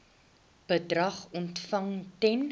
bedrag ontvang ten